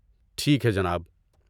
ٹھیک ہے جناب۔